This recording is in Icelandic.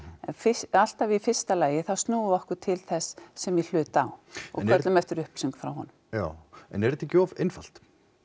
en alltaf í fyrsta lagi þá snúum við okkur til þess sem í hlut á og köllum eftir upplýsingum frá honum já en er þetta ekki of einfalt